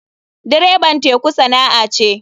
Dreban teku sana'a ce.